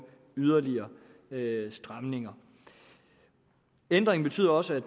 yderligere stramninger ændringen betyder også at